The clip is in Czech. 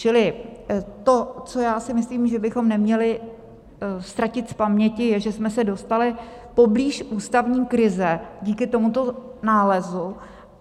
Čili to, co já si myslím, že bychom neměli ztratit z paměti, je, že jsme se dostali poblíž ústavní krize díky tomuto nálezu.